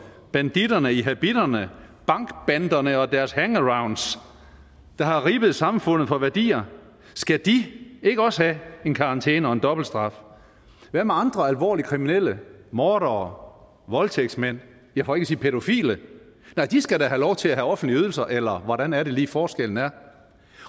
banditterne i habitterne bankbanderne og deres hangarounds der har ribbet samfundet for værdier skal de ikke også have en karantæne og en dobbelt straf hvad med andre alvorligt kriminelle mordere voldtægtsmænd for ikke at sige pædofile nej de skal da have lov til at have offentlige ydelser eller hvordan er det lige forskellen er